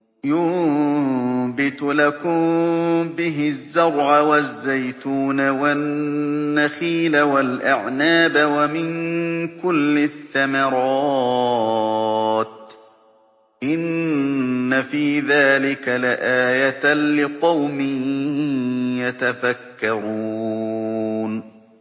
يُنبِتُ لَكُم بِهِ الزَّرْعَ وَالزَّيْتُونَ وَالنَّخِيلَ وَالْأَعْنَابَ وَمِن كُلِّ الثَّمَرَاتِ ۗ إِنَّ فِي ذَٰلِكَ لَآيَةً لِّقَوْمٍ يَتَفَكَّرُونَ